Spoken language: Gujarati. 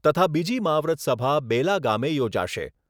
તથા બીજી મહાવ્રત સભા બેલા ગામે યોજાશે.